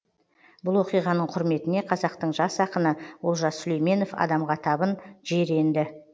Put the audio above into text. бұл окиғаның құрметіне казақтың жас ақыны олжас сүлейменов адамға табын жер енді